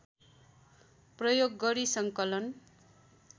प्रयोग गरी सङ्कलन